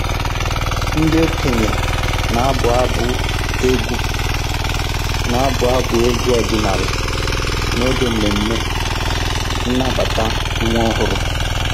Ndị okenye na-abụ abụ egwu na-abụ abụ egwu ọdịnala n'oge mmemme nnabata nwa ọhụrụ.